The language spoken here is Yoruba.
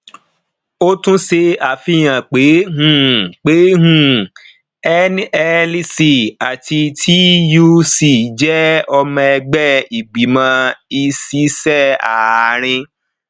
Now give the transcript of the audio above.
ó tún ṣe àfihàn pé um pé um nlc àti tuc jẹ ọmọ ẹgbẹ ìgbìmọ ìṣiṣẹ àárín